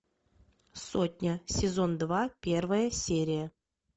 сотня сезон два первая серия